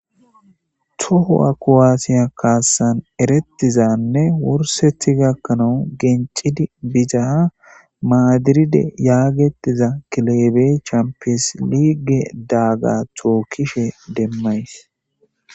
Toho,a kuwaatiya kaassan erettizanne wursethi gakkanawu gencidi bizaha maadiride yaagetiza kilebe champes liige daaga tookkishe demmays.